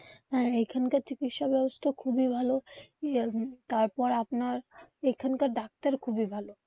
হ্যাঁ এখানকার চিকিৎসা ব্যবস্থা খুবই ভালো. এর তারপর আপনার এখানকার ডাক্তার খুবই ভালো.